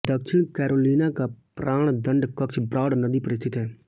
दक्षिण कैरोलिना का प्राणदंड कक्ष ब्रॉड नदी पर स्थित है